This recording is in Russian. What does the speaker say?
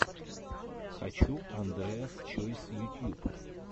хочу андреас чойс ютьюб